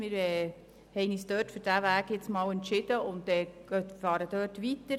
Wir haben uns für diesen Weg entschieden und machen so weiter.